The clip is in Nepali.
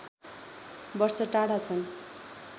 वर्ष टाढा छन्